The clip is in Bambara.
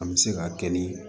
An bɛ se ka kɛ ni